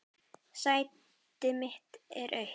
Sæti mitt er autt.